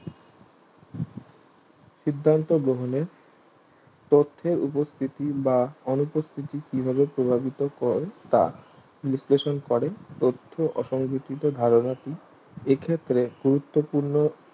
সিদ্ধান্ত গ্রহণের তথ্যের উপস্থিতি বা অনুপস্থিতি কিভাবে প্রভাবিত করে তা বিশ্লেষণ করে তত্ত্ব অসংহতিত ধারধাপি এক্ষেত্রে গুরুত্ব পূর্ণ